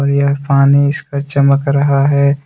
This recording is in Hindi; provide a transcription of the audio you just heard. पानी इसका चमक रहा है।